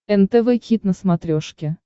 нтв хит на смотрешке